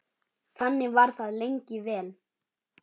Þannig var það lengi vel.